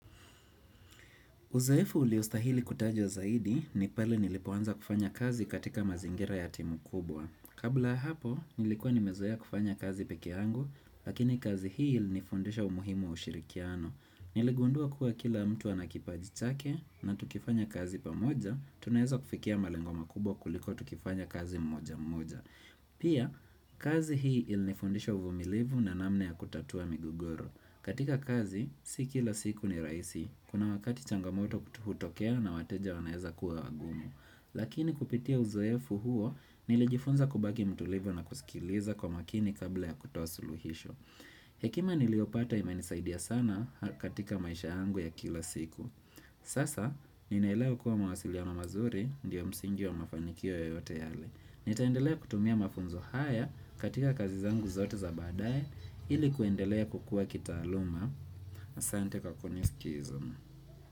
Uzoefu uliostahili kutajwa zaidi ni pale nilipoanza kufanya kazi katika mazingira ya timu kubwa. Kabla hapo, nilikuwa nimezoea kufanya kazi pekee yangu, lakini kazi hii ili nifundisha umuhimu wa ushirikiano. Niligundua kuwa kila mtu ana kipaji chake na tukifanya kazi pamoja, tunaweza kufikia malengo makubwa kuliko tukifanya kazi mmoja mmoja. Pia, kazi hii ili nifundisha uvumilivu na namna ya kutatua migogoro. Katika kazi, si kila siku ni rahisi. Kuna wakati changamoto kutu hutokea na wateja wanaeza kuwa wagumu. Lakini kupitia uzoefu huo, nilijifunza kubaki mtulivu na kusikiliza kwa makini kabla ya kutoa suluhisho. Hekima niliyopata imenisaidia sana katika maisha yangu ya kila siku. Sasa, ninaelewa kuwa mawasiliano mazuri, ndio msingi wa mafanikio yoyote yale. Nitaendelea kutumia mafunzo haya katika kazi zangu zote za baadae ili kuendelea kukua kitaaluma. aSante kwa kunisikiza.